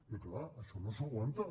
i clar això no s’aguanta